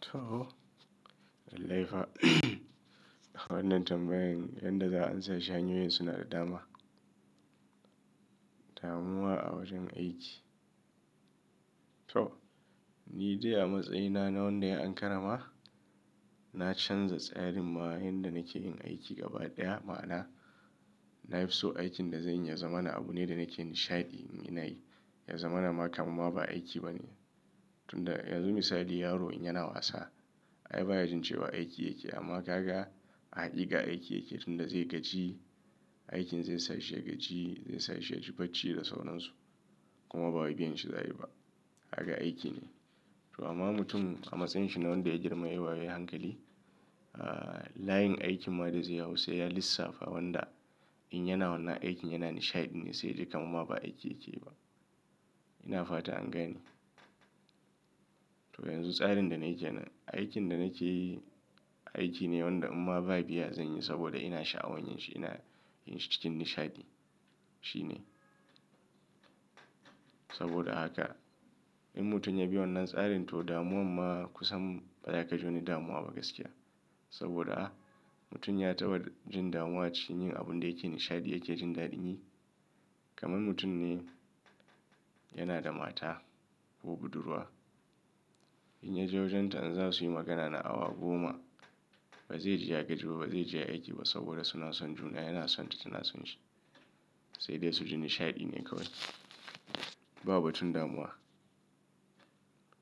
To, lallai fa wannan tambayan, yanda za a amsa shi hanyoyin suna da dama. Damuwa a wajen aiki. To, ni dai a matsayina na wanda yayi an karrama, na canza tsarin ma yan da nake yin aiki gaba ɗaya ma'ana, na fi so aikin da zanyi ya zama na abu ne da nake nishaɗi in ina yi. Ya zama na ma kaman ma ba aiki ba ne. Tun da yanzu misali yaro in yana wasa, ai baya jin cewa aiki yake. Amma kaga a haƙiƙa aiki yake. Tun da zai gaji, aikin zai sa shi ya gaji, zai sa shi ya ji bacci da sauransu kuma ba wai biyan shi za a yi ba. Haka aiki ne. To amma mutum a matsayin shi na wanda ya girma ya yi wayo yayi hankali, ah, layin aikin ma da zai hau sai ya lissafa wanda in yana wannan aikin yana nishaɗi ne sai ya ji kaman ma ba aiki yake yi ba. Ina fata an gane to yanzu tsarin da nayi kenan, aikin da nake yi aiki ne wanda in ma ba biya zanyi saboda ina sha'awan yin shi, ina yin shi cikin nishaɗi. Shi ne. Saboda haka, in mutum ya bi wannan tsarin to damuwan ma kusan ba za ka ji wani damuwa ba gaskiya. Saboda a, mutum ya taɓa jin damuwa cikin yin abun da yake nishaɗi yake jin daɗin yi. Kaman mutum ne yana da mata ko budurwa. In ya je wajen ta an za su yi magana na awa goma, ba zai ji ya gaji ba, ba zai ji aiki ba saboda suna son juna. Yana son ta tana son shi. Sai dai su ji nishaɗi ne kawai. Ba batun damuwa.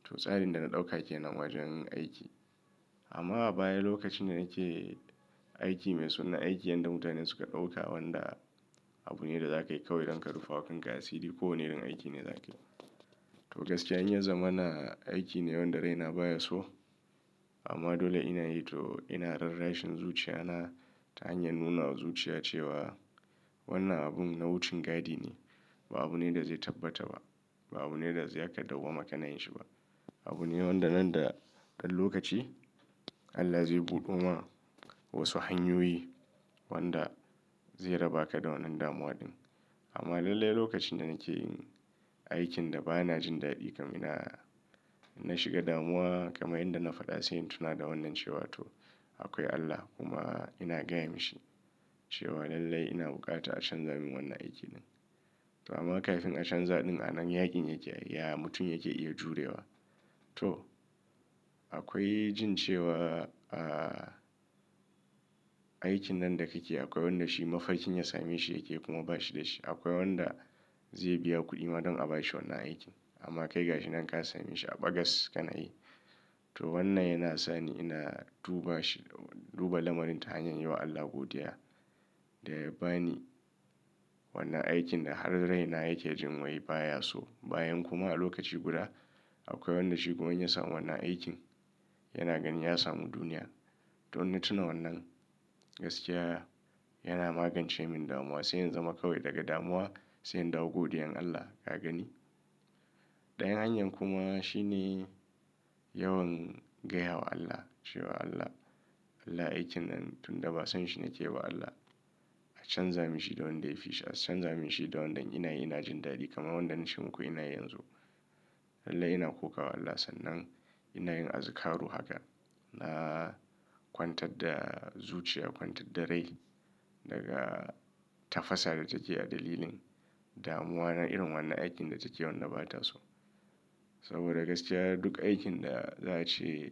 To tsarin da na ɗauka kenan wajen aiki. Amma a baya lokacin da nake aiki mai suna aiki yanda mutane suka ɗauka wanda abu ne da za ka yi kawai idan ka rufe wa kan ka asiri ko wane irin aiki ne za ka yi. To gaskiya in ya zama na aiki ne wanda rai na baya so. Amma dole ina yi to ina rarrashin zuciya na ta hanyar nuna wa zuciya cewa wannan abun nau'ucin gadi ne. Ba abu ne da zai tabbata ba. Ba abu ne da zai aka dagwama kana yin shi ba. Abu ne wanda nan da ɗan lokaci Allah zai buɗo ma wasu hanyoyi wanda zai raba ka da wannan damuwa din. Amma lallai lokacin da nake yin aikin da ba na jin daɗi kam ina, in na shiga damuwa kamar inda na faɗa sai tuna da wannan cewa to akwai Allah kuma ina gaya mashi cewa lallai ina buƙata a canza min wannan aikin din. To amma kafin a canza din a nan yakin yake, ya mutum yake iya jurewa. To akwai jin cewa, ah, aikin nan da kake yi akwai wanda shi mafarkin ya same shi yake kuma ba shi da shi. Akwai wanda zai biya kuɗi ma don a ba shi wannan aikin. Amma kai ga shi nan ka same shi a ɓagas ka na yi. To wannan yana sa ni ina duba shi, duba lamarin ta hanyar yi wa Allah godiya da ya ba ni wannan aikin da har rai na yake jin wai baya so. Bayan kuma a lokaci guda akwai wanda shi kuma in ya samu wannan aikin yana ganin ya samu duniya. To in tuna wannan gaskiya yana magance mun damuwa sai in zama kawai daga damuwa sai in dawo godiyan Allah. Ka gani? Ɗayan hanyar kuma shi ne yawan gaya wa Allah cewa Allah, Allah aikin nan tunda ba san shi nake ba Allah a canza min shi da wanda ya fi shi, a canza min shi da wanda in ina yi ina jin daɗi kaman wannan na ce muku ina yi yanzu. Lallai ina kokawa Allah sannan ina yin azkaru haka. Naa kwantar da zuciya, kwantar da rai daga tafasar da take a dalilin damuwa na irin wannan aikin da take yanda bata so. Saboda gaskiya duk aikin da za a ce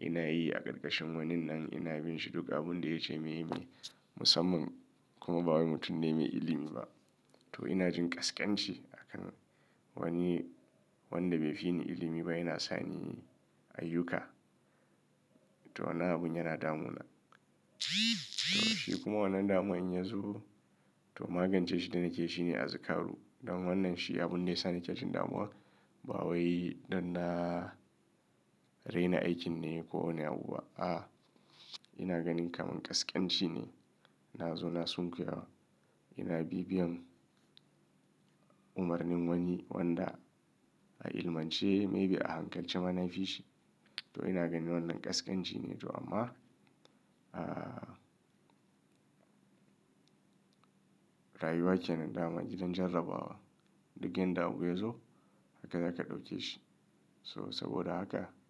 ina yi a ƙarƙashin waninan ina bin shi duk abun da ya ce muyi muyi musamman kuma ba wani mutum ne mai ilimi ba. To ina jin ƙasƙanci a kan wani wanda bai fi ni ilimi ba yana sa ni ayyuka. To wannan abun yana damuna. To shi kuma wannan damuwa in yazo to magance shi da nake yi shi ne azkaru. Don wannan shi abun ne da ya sa nake jin damuwa. Ba wai dan na raina aikin ne ko wani abu ba. A'a ina ganin kaman ƙasƙanci ne. Na zo na sunkuya wa. Ina bibiyan umarnin wani wanda a ilmance maybe a hankalce ma na fi shi. To ina ganin wannan ƙasƙanci ne to amma, ah, rayuwa kenan dama gidan jarrabawa. Duk yanda abu yazo haka za ka ɗauke shi. So saboda haka.